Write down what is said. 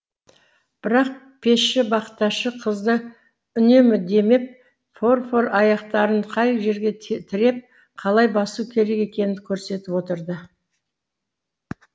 бірақ пешші бақташы қызды үнемі демеп форфор аяқтарын қай жерге тіреп қалай басу керек екенін көрсетіп отырды